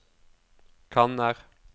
kanner